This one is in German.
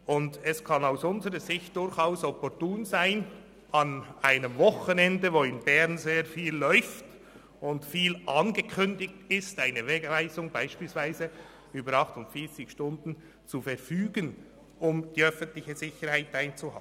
Und aus unserer Sicht kann es durchaus opportun sein, an einem Wochenende, wo in Bern sehr viel läuft und viel angekündigt ist, eine Wegweisung beispielsweise über 48 Stunden zu verfügen, um die öffentliche Sicherheit zu gewährleisten.